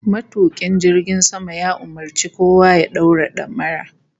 Matukin jirgin sama ya umurci kowa ya daura damara (bel)